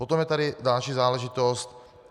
Potom je tady další záležitost.